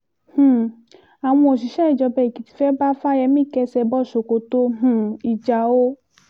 um àwọn òṣìṣẹ́ ìjọba èkìtì fẹ́ẹ́ bá fáyẹ́mì kẹ́sẹ́ bọ́ ṣòkòtò um ìjà o